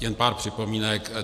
Jen pár připomínek.